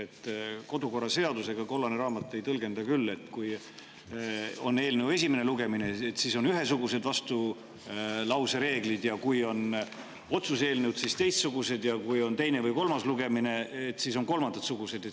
Kodukorraseaduse kollases raamatus ei tõlgenda küll nii, et kui on eelnõu esimene lugemine, siis on ühesugused vastulause reeglid, kui on otsuse eelnõu, siis teistsugused, ja kui on teine või kolmas lugemine, siis on kolmandasugused.